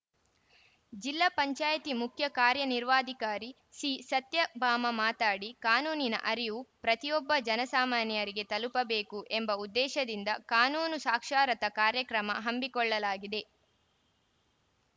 ಜಿಲ್ಲಾ ಪಂಚಾಯತಿ ಮುಖ್ಯ ಕಾರ್ಯನಿರ್ವಾಧಿಕಾರಿ ಸಿಸತ್ಯಭಾಮ ಮಾತಾಡಿ ಕಾನೂನಿನ ಅರಿವು ಪ್ರತಿಯೊಬ್ಬ ಜನಸಾಮಾನ್ಯರಿಗೆ ತಲುಪಬೇಕು ಎಂಬ ಉದ್ದೇಶದಿಂದ ಕಾನೂನು ಸಾಕ್ಷಾರತ ಕಾರ್ಯಕ್ರಮ ಹಮ್ಮಿಕೊಳ್ಳಲಾಗಿದೆ